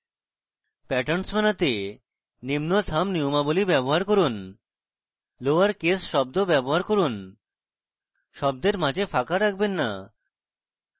patterns বানাতে নিম্ন thumb নিয়মাবলী ব্যবহার করুন লোয়ার কেস শব্দ ব্যবহার করুন শব্দের মাঝে ফাঁকা রাখবেন না